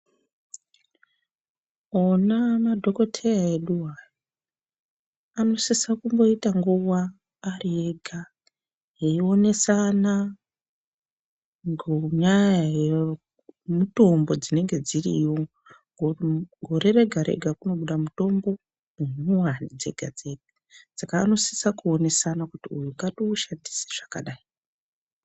Ana madhokoteya eduwo aya, anosisa kumboita nguwa ari ega eyionesana ngonyaya yemuthombo dzinonge dziriyo ngouti gore rega rega kunobuda muthombo munyowani dzegadzega saka anosisa kuonesana kuti uyu ngati ushandise zvakadai.